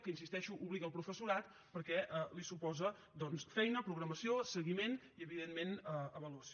que hi insisteixo obliga el professorat perquè li suposa doncs feina programació seguiment i evidentment avaluació